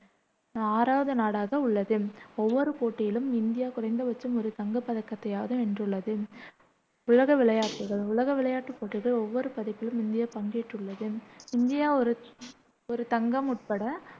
ஆறாவது நாடாக உள்ளது. ஒவ்வொரு போட்டியிலும் இந்தியா குறைந்தபட்சம் ஒரு தங்கப் பதக்கத்தையாவது வென்றுள்ளது. உலக விளையாட்டுகள் உலக விளையாட்டுப் போட்டிகள் ஒவ்வொரு பதிப்பிலும் இந்தியா பங்கேற்றுள்ளது இந்தியா ஒரு ஒரு தங்கம் உட்பட